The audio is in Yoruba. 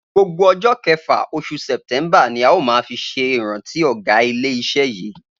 Gbogbo o̩jó̩ ke̩fà, os̩ù Sè̩té̩ḿbà ni a óò máa fi s̩e ìrántí ò̩gá ilé is̩e yìí